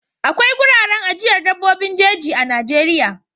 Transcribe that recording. Akwai wuraren ajiyar dabbobin jeji a Najeriya.